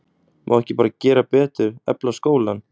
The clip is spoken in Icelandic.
Má ekki bara gera betur, efla skólann?